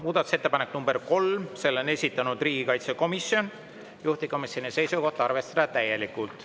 Muudatusettepanek nr 3: selle on esitanud riigikaitsekomisjon, juhtivkomisjoni seisukoht on arvestada seda täielikult.